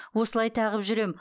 осылай тағып жүрем